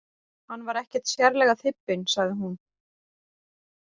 Hann var ekkert sérlega þybbinn, sagði hún.